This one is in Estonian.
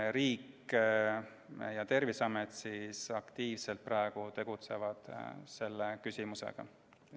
Riik ja Terviseamet aktiivselt tegelevad selle küsimusega.